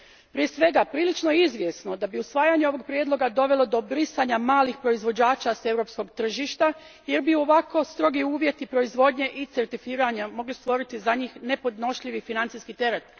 Prije svega, prilično je izvjesno da bi usvajanje ovog prijedloga dovelo do brisanja malih proizvođača s europskog tržišta jer bi ovako strogi uvjeti proizvodnje i certificiranja mogli stvoriti za njih nepodnošljivi financijski teret.